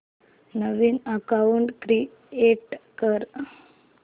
नवीन account create कर